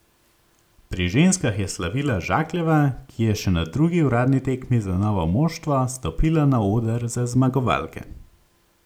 Pri ženskah je slavila Žakljeva, ki je še na drugi uradni tekmi za novo moštvo stopila na oder za zmagovalke.